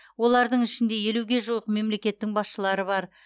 олардың ішінде елуге жуық мемлекеттің басшылары бар